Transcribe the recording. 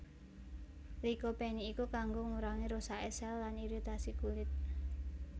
Lycopene iku kanggo ngurangi rusake sel lan iritasi kulit